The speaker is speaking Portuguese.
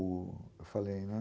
Eu falei, né?